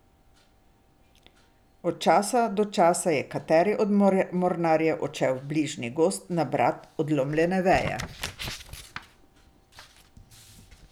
Od časa do časa je kateri od mornarjev odšel v bližnji gozd nabrat odlomljene veje.